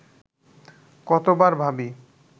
কতবার ভাবি